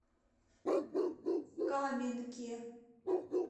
каменке